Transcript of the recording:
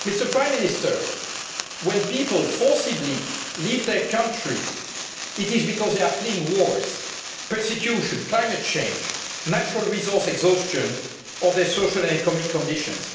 Prime Minister, when people forcibly leave their country, it is because they are fleeing wars, persecution, climate change, natural resource exhaustion or their social and economic conditions.